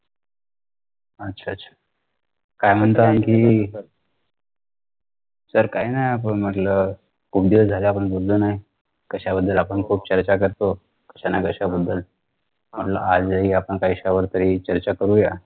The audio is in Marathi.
अच्छा अच्छा काय म्हणता आणखी sir काय नयी असं म्हटलं खूप दिवस झाले आपण बोललो नयी कशाबद्दल आपण खूप चर्चा करतो कशानकशाबद्दल म्हटलं आजही आपण कशावरतरी चर्चा करूया